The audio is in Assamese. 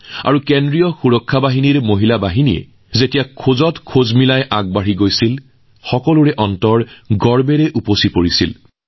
যেতিয়া কেন্দ্ৰীয় নিৰাপত্তা বাহিনী আৰু দিল্লী আৰক্ষীৰ মহিলা দলে কৰ্তব্য পথত মাৰ্চপাষ্ট কৰিবলৈ আৰম্ভ কৰে সকলোৱে হৃদয় গৌৰৱেৰে উঠলি উঠিল